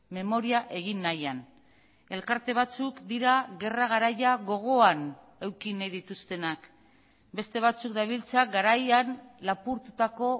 memoria egin nahian elkarte batzuk dira gerra garaia gogoan eduki nahi dituztenak beste batzuk dabiltza garaian lapurtutako